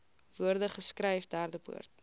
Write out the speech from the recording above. woorde geskryf derdepoort